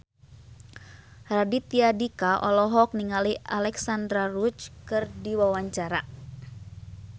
Raditya Dika olohok ningali Alexandra Roach keur diwawancara